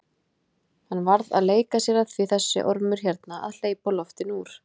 Hann var að leika sér að því þessi ormur hérna að hleypa loftinu úr!